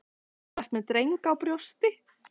Þú ert með drenginn á brjósti.